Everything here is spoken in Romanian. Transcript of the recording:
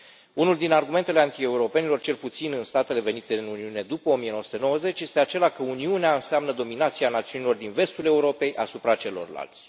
Unul din argumentele anti europenilor, cel puțin în statele venite în Uniune după 1990, este acela că Uniunea înseamnă dominația națiunilor din vestul Europei asupra celorlalți.